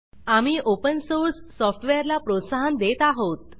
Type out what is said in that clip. आम्ही open source software ला प्रोत्साहन देत आहोत